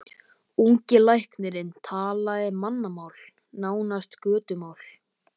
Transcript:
Ungi læknirinn talaði mannamál, nánast götumál.